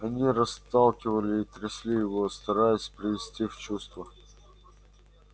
они расталкивали и трясли его стараясь привести в чувство